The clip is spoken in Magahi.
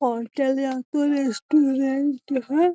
ओता लागतो रेस्टोरेंट है।